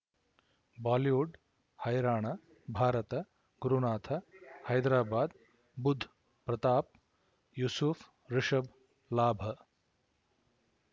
Bollywood ಹೈರಾಣ ಭಾರತ ಗುರುನಾಥ ಹೈದರಾಬಾದ್ ಬುಧ್ ಪ್ರತಾಪ್ ಯೂಸುಫ್ ರಿಷಬ್ ಲಾಭ